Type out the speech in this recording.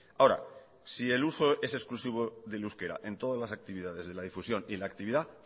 ahora si el uso es exclusivo del euskera en todas las actividades de la difusión y la actividad